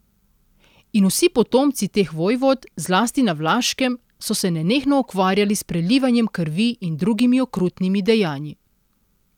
In vsi potomci teh vojvod, zlasti na Vlaškem, so se nenehno ukvarjali s prelivanjem krvi in drugimi okrutnimi dejanji.